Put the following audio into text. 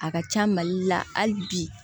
A ka ca mali la hali bi